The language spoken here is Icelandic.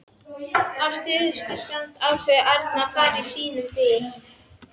Á síðustu stundu ákveður Árni að fara á sínum bíl.